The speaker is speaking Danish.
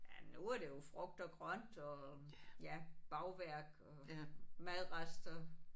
Ja nu er det jo frugt og grønt og ja bagværk og madrester